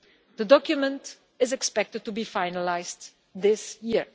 The document is expected to be finalised this year.